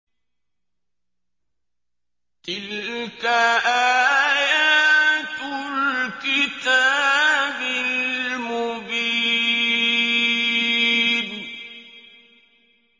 تِلْكَ آيَاتُ الْكِتَابِ الْمُبِينِ